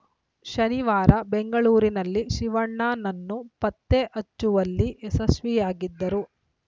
ಶನಿವಾರ ಬೆಂಗಳೂರಿನಲ್ಲಿ ಶಿವಣ್ಣನನ್ನು ಪತ್ತೆ ಹಚ್ಚುವಲ್ಲಿ ಯಶಸ್ವಿಯಾಗಿದ್ದರು